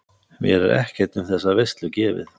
Mér er ekkert um þessa veislu gefið.